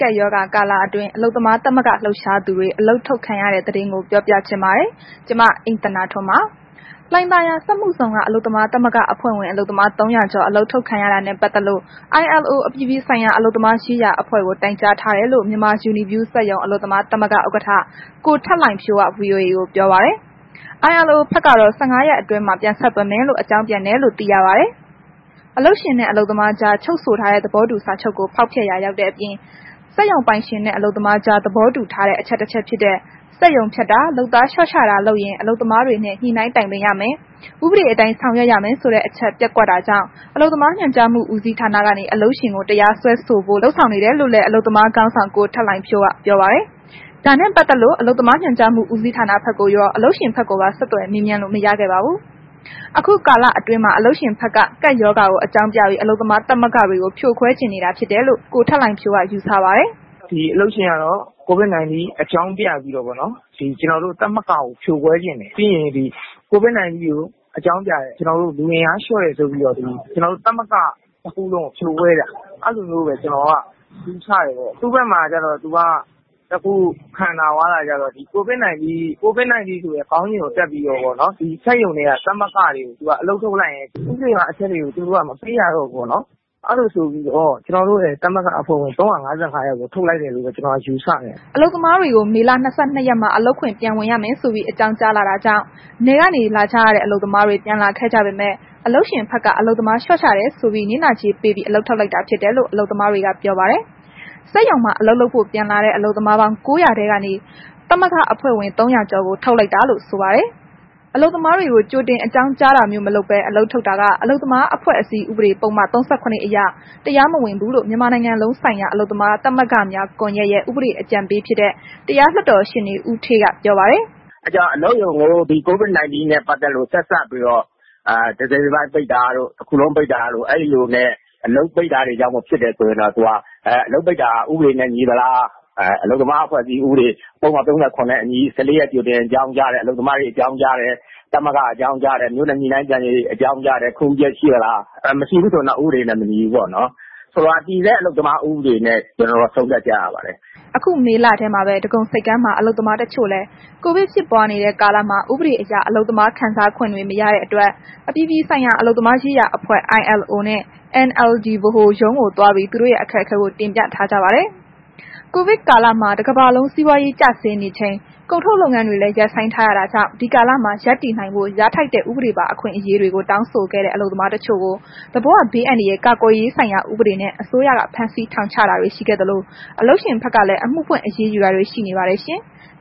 ကပ်ရောဂါကာလအတွင်း အလုပ်သမားသမဂ္ဂ လှုပ်ရှားသူတွေ အလုပ်ထုတ်ခံရတဲ့သတင်းကို ဗွီအိုအေမြန်မာပိုင်းသတင်းထောက် မအိမ့်သန္တာထွန်းက ပြောပြပေးပါမယ်။ လှိုင်သာယာ စက်မှုဇုန်က သမဂ္ဂအဖွဲ့ဝင် အလုပ်သမား ၃၀၀ ကျော် အလုပ်ထုတ်ခံရတာနဲ့ ပတ်သက်လို့ ILO အပြည်ပြည်ဆိုင်ရာ အလုပ်သမားရေးရာအဖွဲ့ကို တိုင်ကြားထားတယ်လို့ မြန်မာယူနီဗျူး စက်ရုံ အလုပ်သမားသမဂ္ဂ ဥက္ကဋ္ဌ ကိုထက်လှိုင်ဖြိုးက VOA ကိုပြောပါတယ်။ ILO ဘက်ကတော့ ၁၅ ရက်အတွင်းမှာ ပြန်ဆက်သွယ်မယ်လို့ အကြောင်းပြန်တယ်လို့သိရပါတယ်။ အလုပ်ရှင်နဲ့ အလုပ်သမားကြား ချုပ်ဆိုထားတဲ့ သဘောတူစာချုပ်ကို ဖောက်ဖျက်ရာရောက်တဲ့အပြင် စက်ရုံပိုင်ရှင်နဲ့ အလုပ်သမားကြား သဘောတူထားတဲ့ အချက်တစ်ချက်ဖြစ်တဲ့ စက်ရုံဖျက်တာ၊ လုပ်သားလျှော့ချတာလုပ်ရင် အလုပ်သမားတွေနဲ့ ညှိနှိုင်းတိုင်ပင်ရမယ်၊ ဥပဒအတိုင်း ဆောင်ရွက်ရမယ်ဆိုတဲ့ အချက် ပျက်ကွက်တာကြောင့် အလုပ်သမားညွှန်ကြားမှုဦးစီးဌာနက အလုပ်ရှင်ကို တရားစွဲဆိုဖို့ လုပ်ဆောင်နေတယ်လို့လည်း အလုပ်သမားခေါင်းဆောင်ကိုထက်လှိုင်ဖြိုးက ပြောပါတယ်။ ဒါနဲ့ပတ်သက်လို့ အလုပ်သမားညွှန်ကြားမှုဦးစီးဌာနဘက်ကိုရော အလုပ်ရှင်ဘက်ကိုပါ ဆက်သွယ်မေးမြန်းလို့ မရခဲ့ပါဘူး။ အခုကာလအတွင်းမှာ အလုပ်ရှင်ဘက်က ကပ်ရောဂါကို အကြောင်းပြပြီး အလုပ်သမား သမဂ္ဂတွေကို ဖြိုခွဲချင်နေတာဖြစ်တယ်လို့ ကိုထက်လှိုင်ဖြိုးက ယူဆပါတယ်။ “အလုပ်ရှင်ကတော့ ဒီ COVID - 19 အကြောင်းပြပြီးတော့ပေါ့နော်။ ကျနော်တို့ သမဂ္ဂကို ဖြို့ခွဲချင်တယ်။ ပြီးရင် ဒီ COVID - 19 အကြောင်းပြတယ်၊ လူအင်အားလျှော့တယ်ဆိုပြီးတော့ ကျနော်တို့ သမဂ္ဂတစ်ခုလုံးကို ဖြိုခွဲလိုက်တာ၊ အဲ့လိုမျိုးပဲ ကျနော်က ယူဆတယ်ပေါ့။ သူ့ဘက်မှာကျတော့ သူက တစ်ခု ခံသာသွားတာကကျတော့ COVID - 19 ဆိုတဲ့ ခေါင်းစဉ်ကို တပ်ပြီးတော့ပေါ့နော်။ စက်ရုံတွေက သမဂ္ဂတွေကို အလုပ်ထုတ်လိုက်ရင် ဥပဒေပါအချက်တွေကို သူတို့က မပေးရတော့ဘူးပေါ့နော်။ အဲ့လိုဆိုပြီးတော့ ကျနော်တို့ရဲ့ သမဂ္ဂအဖွဲ့ဝင် ၃၅၅ ယောက်ကို ထုတ်လိုက်တယ်လို့ပဲ ကျနော်က ယူဆတယ်။” အလုပ်သမားတွေကို မေလ ၂၂ ရက်မှာ လုပ်ငန်းခွင်ပြန်ဝင်ရမယ်ဆိုပြီး အကြောင်းကြားလာတာကြောင့် နယ်ကနေ လာကြရတဲ့ အလုပ်သမားတွေ ပြန်လာခဲ့ကြပေမဲ့ အလုပ်ရှင်ဘက်က အလုပ်သမား လျှော့ချတယ်ဆိုပြီး နစ်နာကြေးပေးပြီး အလုပ်ထုတ်လိုက်တာဖြစ်တယ်လို့ အလုပ်သမားတွေ ပြောပါတယ်။ စက်ရုံမှာ အလုပ်လုပ်ဖို့ ပြန်လာတဲ့ အလုပ်သမားပေါင်း ၉၀၀ ထဲကနေ သမဂ္ဂအဖွဲ့ဝင် ၃၀၀ ကျော်ကို ထုတ်လိုက်တာလို့ ဆိုပါတယ်။ အလုပ်သမားတွေကို ကြိုတင် အကြောင်းကြားတာမျိုး မလုပ်ဘဲ အလုပ်ထုတ်တာက အလုပ်သမားအဖွဲအစည်း ဥပဒေ ပုဒ်မ ၃၇ အရ တရားမဝင်ဘူးလို့ မြန်မာနိုင်ငံလုံးဆိုင်ရာ အလုပ်သမား သမဂ္ဂများ ကွန်ယက်ရဲ့ ဥပဒေ အကြံပေးဖြစ်တဲ့ တရားလွှတ်တော်ရှေ့နေ ဦးဌေးက ပြောပါတယ်။ “အလုပ်ရုံကို ဒီ COVID - 19 နဲ့ ပတ်သက်လို့ ဆက်စပ်ပြီးတော့ တစ်စိတ်တစ်ပိုင်း ပိတ်တာတို့၊ တစ်ခုလုံး ပိတ်တာတို့နှင့် အလုပ်ပိတ်တာတို့ကြောင့် ဖြစ်တယ်ဆိုရင်တော့ အလုပ်ပိတ်တာ ဥပဒေနဲ့ ညီသလား၊ အလုပ်သမား အဖွဲ့အစည်း ဥပဒေ ပုဒ်မ ၃၇ နဲ့အညီ ၁၄ ရက် ကြိုတင်ပြီး အလုပ်သမားတွေ ကို အကြောင်းကြားရတယ်၊ သမဂ္ဂကို အကြောင်းကြားတယ်၊ မြို့နယ် ညှိနှိုင်းပြန်ကြားရေးကို အကြောင်းကြားတယ်။ ခွင့်ပြုချက်ရှိရဲ့လား၊ မရှိဘူးဆိုရင်တော့ ဥပဒေနဲ့ မညီဘူးပေါ့နော်။ တည်ဆဲ အလုပ်သမားဥပဒေနဲ့ ကျနော်တို့က ဆုံးဖြတ်ကြရပါတယ်။” အခုမေလထဲမှာပဲ ဒဂုံဆိပ်ကမ်းက အလုပ်သမားတစ်ချို့လည်း COVID ဖြစ်ပွားနေတဲ့ ကာလမှာ ဥပဒေအရ အလုပ်သမားခံစားခွင့်တွေ မရတဲ့အတွက် အပြည်ပြည်ဆိုင်ရာ အလုပ်သမားရေးရာ အဖွဲ့ILOနဲ့ NLD ဗဟိုရုံးကို သွားပြီး သူတို့ရဲ့ အခက်အခဲကို တင်ပြထားကြပါတယ်။ ကိုဗစ်ကာလမှာ တစ်ကမ္ဘာလုံး စီးပွားရေး ကျဆင်းနေချိန် ကုန်ထုတ်လုပ်ငန်းတွေလည်း ရပ်ဆိုင်းထားရတာကြောင့် ဒီကာလမှာ ရပ်တည်နိုင်ဖို့ ရထိုက်တဲ့ ဥပဒေပါ အခွင့်အရေးတွေကို တောင်းဆိုခဲ့တဲ့ အလုပ်သမားတချို့ကို သဘာဝဘေးအန္တရာယ်ကာကွယ်ရေးဆိုင်ရာဥပဒေနဲ့ အစိုးရက ဖမ်းဆီးထောင်ချတာတွေ ရှိခဲ့သလို အလုပ်ရှင်ဘက်ကလည်း အမှုဖွင့်အရေးယူတာတွေ ရှိနေပါတယ်ရှင်။